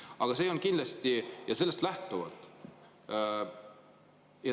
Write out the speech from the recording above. Aga see ei olnud kindlasti.